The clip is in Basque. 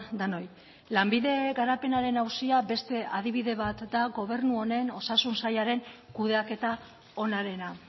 denoi lanbide garapenaren auzia beste adibide bat da gobernu honen osasun sailaren kudeaketa onarena